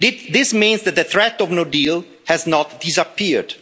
This means that the threat of no deal has not disappeared.